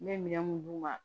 N bɛ minɛn mun d'u ma